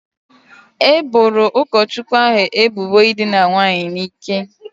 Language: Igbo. E boro ụkọchukwu ahu ebubo ịdịna nwaanyị n'ike